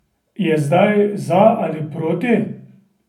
Je zdaj za ali proti?